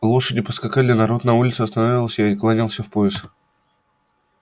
лошади поскакали народ на улице останавливался и кланялся в пояс